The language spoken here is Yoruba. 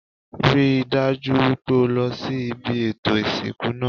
Rí i dájú wípé o lo sí ibi ètò ìsìnkú náà